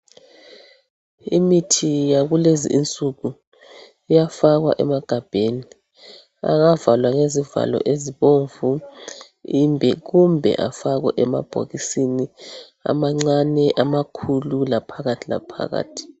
Imithi yakulezinsuku iyafakwa emagabheni, angavalwa ngezivalo ezibomvu kumbe afakwe emabhokisini amancane, amakhulu laphakathi laphakathi.